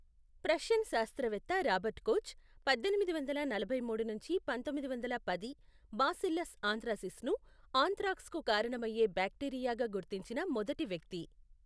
Prussian శాస్త్రవేత్త Robert Koch, పద్దెనిమిది వందల నలభై మూడు నుంచి పంతొమ్మిది వందల పది, బాసిల్లస్ ఆంత్రాసిస్ను ఆంత్రాక్స్కు కారణమయ్యే బ్యాక్టీరియాగా గుర్తించిన మొదటి వ్యక్తి.